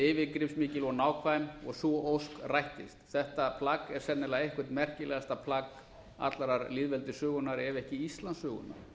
yfirgripsmikil og nákvæm og sú ósk rættist þetta plagg er sennilega eitt merkilegasta plagg allrar lýðveldissögunnar ef ekki íslandssögunnar